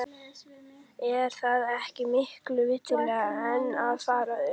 Er það ekki miklu viturlegra en að fara upp?